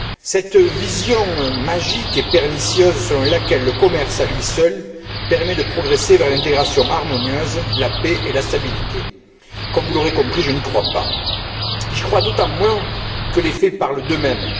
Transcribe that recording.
Cette vision magique et pernicieuse selon laquelle le commerce à lui seul permet de progresser vers l'intégration harmonieuse, la paix et la stabilité, comme vous l'aurez compris, je n'y crois pas. J'y crois d'autant moins que les faits parlent d'eux mêmes.